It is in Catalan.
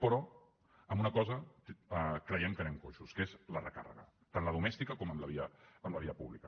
però en una cosa creiem que anem coixos que és la recàrrega tant la domèstica com en la via pública